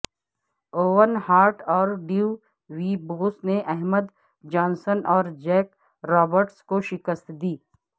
oven Hart اور ڈیو وی بوس نے احمد جانسن اور جیک رابرٹس کو شکست دی